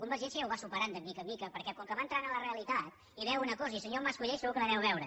convergència ja ho va superant de mica en mica perquè com que va entrant en la realitat i veu una cosa i el senyor mas colell segur que la deu veure